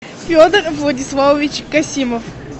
федор владиславович касимов